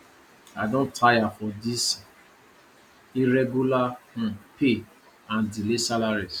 i don tire for this irregular um pay and delay salaries